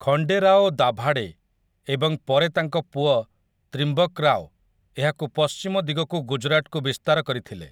ଖଣ୍ଡେରାଓ ଦାଭାଡେ ଏବଂ ପରେ ତାଙ୍କ ପୁଅ ତ୍ରିମ୍ବକ୍ ରାଓ ଏହାକୁ ପଶ୍ଚିମ ଦିଗକୁ ଗୁଜୁରାଟକୁ ବିସ୍ତାର କରିଥିଲେ ।